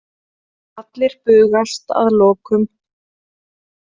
Allir bugast að lokum.